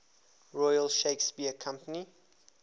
royal shakespeare company